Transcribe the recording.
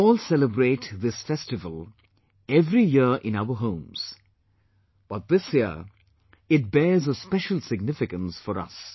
We all celebrate this festival every year in our homes, but this year it bears a special significance for us